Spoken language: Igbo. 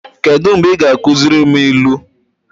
Kedụ mgbe ị ga-akuziri m ilu?